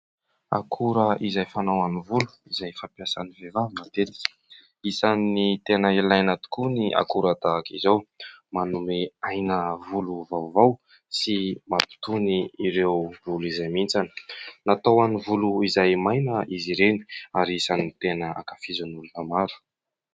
Akora izay fanao amin'ny volo izay fampiasan'ny vehivavy matetika. Isan'ny tena ilaina tokoa ny akora tahaka izao, manome aina volo vaovao sy mampitony ireo volo izay mihintsana. Natao ho an'ny volo izay maina izy ireny ary isan'ny tena ankafizin'ny olona maro.